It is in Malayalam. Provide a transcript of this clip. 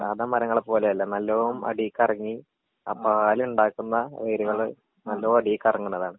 സാധാ മരങ്ങളെ പോലെയല്ല നല്ലോം അടീക്കെറങ്ങി ആ പാലിണ്ടാക്കുന്ന വേരുകള് നല്ലോം അടീക്കെറങ്ങ്ണതാണ്.